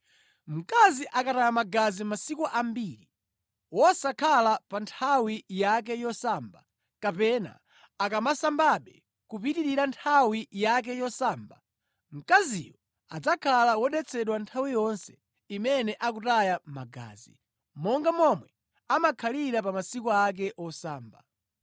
“ ‘Mkazi akataya magazi masiku ambiri, wosakhala pa nthawi yake yosamba, kapena akamasambabe kupitirira nthawi yake yosamba, mkaziyo adzakhala wodetsedwa nthawi yonse imene akutaya magazi, monga momwe amakhalira pa masiku ake osamba.